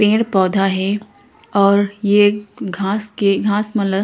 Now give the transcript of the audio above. पेड़-पौधा हे और ये घास के घास मन ल -